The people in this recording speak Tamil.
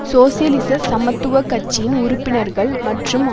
சோசியலிச சமத்துவ கட்சியின் உறுப்பினர்கள் மற்றும்